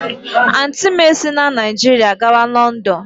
Auntị m esila Naijiria gawa Lọndọn.